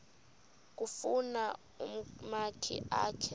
kufuna umakhi akhe